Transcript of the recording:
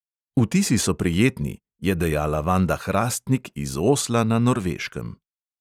"Vtisi so prijetni," je dejala vanda hrastnik iz osla na norveškem.